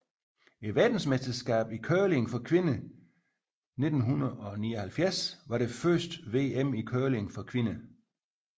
Verdensmesterskabet i curling for kvinder 1979 var det første VM i curling for kvinder